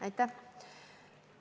Aitäh!